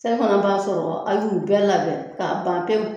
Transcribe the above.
Selifana b'a sɔrɔ an y'u bɛɛ labɛn k'a ban pewu